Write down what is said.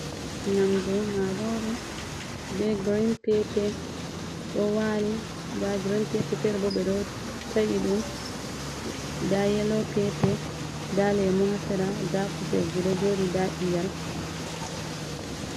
Nyamdu marore be girin pepe do wali, nda girin pepe ferebo ɓe ɗo ta’iɗum, nda yelo pepe, nda lemu haa sera, nda kuserji ɗo joɗi, nda iyal.